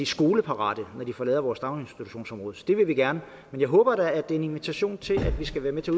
skoleparate når de forlader vores daginstitutionsområde så det vil vi gerne men jeg håber da at det er en invitation til at vi skal være med til